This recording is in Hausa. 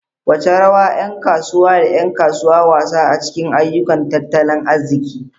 Wace rawa yan kasuwa da 'yan kasuwa wasa a cikin ayyukan tattalin arziki?